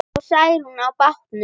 Fór Særún með bátnum.